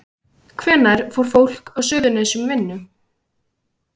Hvenær fær fólk á Suðurnesjum vinnu?